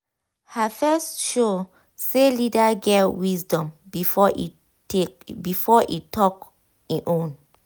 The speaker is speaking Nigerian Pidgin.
her first show say leader get wisdom before e talk e own